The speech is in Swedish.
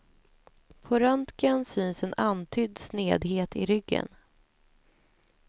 På röntgen syns en antydd snedhet i ryggen.